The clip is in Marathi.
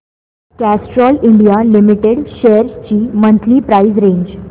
कॅस्ट्रॉल इंडिया लिमिटेड शेअर्स ची मंथली प्राइस रेंज